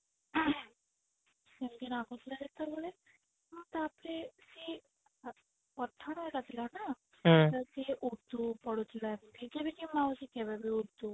ସେମତି ନା ତାପରେ ସିଏ ପଠାଣ ଘର ଥିଲା ନା ତ ସିଏ ଉର୍ଦ୍ଧୁ ପଢୁଥିଲା ମାଉସୀ କେବେବି ଉର୍ଦ୍ଧୁ